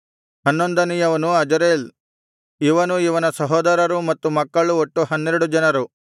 ಹನ್ನೊಂದನೆಯವನು Azarel ಇವನೂ ಇವನ ಸಹೋದರರೂ ಮತ್ತು ಮಕ್ಕಳು ಒಟ್ಟು ಹನ್ನೆರಡು ಜನರು